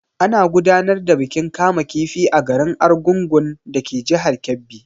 Ana gudanar da bikin kama kifi a garin Argungun dake jihar Kebbi.